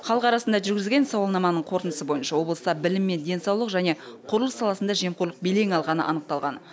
халық арасында жүргізген сауалнаманың қорытындысы бойынша облыста білім мен денсаулық және құрылыс саласында жемқорлық белең алғаны анықталған